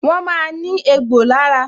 Wọn máa ní egbò lára